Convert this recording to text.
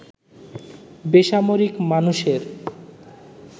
বেসামরিক মানুষের